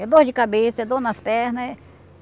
É dor de cabeça, é dor nas pernas.